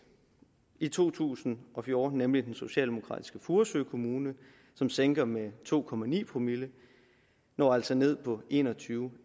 i to tusind og fjorten nemlig den socialdemokratiske furesø kommune som sænker den med to promille promille når altså ned på en og tyve